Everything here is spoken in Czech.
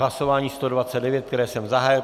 Hlasování 129, které jsem zahájil.